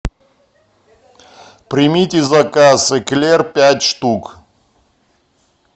примите заказ эклер пять штук